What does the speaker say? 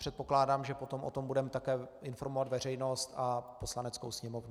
Předpokládám, že potom o tom budeme také informovat veřejnost a Poslaneckou sněmovnu.